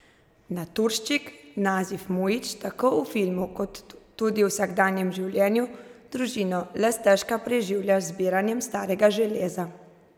Naturščik Nazif Mujić tako v filmu kot tudi v vsakdanjem življenju družino le stežka preživlja z zbiranjem starega železa.